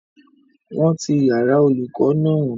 Wọ́n ti yàrá-olùkọ́ náà